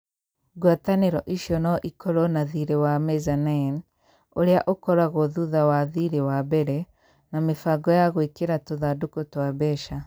Ngwatanĩro icio no ikorũo na thirĩ wa mezzanine, ũrĩa ũkoragwo thutha wa thirĩ wa mbere, na mĩbango ya gwĩkĩra tũthandũkũ twa mbeca.